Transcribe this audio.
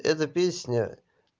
это песня